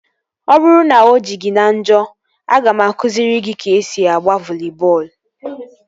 Ọ bụrụ na o ji gị na njọ, aga m akụziri gị ka esi agba voli bọọlụ